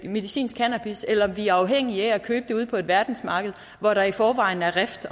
medicinsk cannabis eller om vi er afhængige af at købe det ude på verdensmarkedet hvor der i forvejen er rift